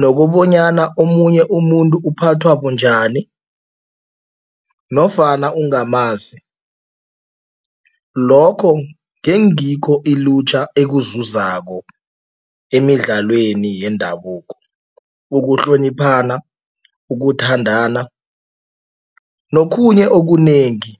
nokobanyana omunye umuntu uphathwa bunjani nofana ungamazi, lokho ngengikho ilutjha elikuzuzako emidlalweni yendabuko, ukuhloniphana, ukuthandana nokhunye okunengi.